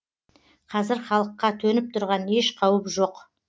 қазір халыққа төніп тұрған еш қауіп жоқ